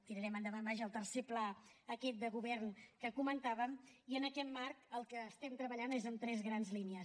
tirarem endavant vaja el tercer pla aquest de govern que comentàvem i en aquest marc el que estem treballant és amb tres grans línies